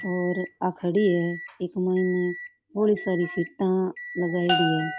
और आ खड़ी है इक माइन --